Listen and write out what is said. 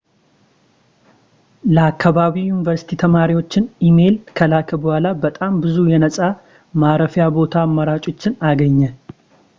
ለአከባቢው ዩኒቨርስቲ ተማሪዎችን ኢሜይል ከላከ በኋላ በጣም ብዙ የነጻ ማረፊያ ቦታ አማራጮችን አገኘ